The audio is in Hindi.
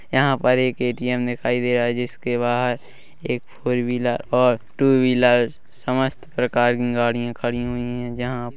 यहाँ पर एक ए_टी_एम दिखाई दे रहा हैं जिसके बाहर एक फोर व्हीलर और टू व्हीलर समस्त प्रकार की गाड़िया खड़ी हुई हैं जहाँ--